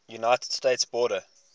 united states border